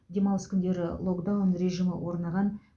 демалыс күндері локдаун режимі орнаған